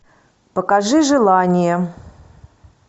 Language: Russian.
покажи желание